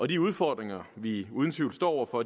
de udfordringer vi uden tvivl står over for